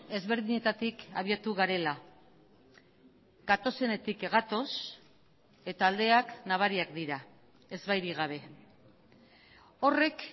ezberdinetatik abiatu garela gatozenetik gatoz eta aldeak nabariak dira ezbairik gabe horrek